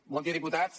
bon dia diputats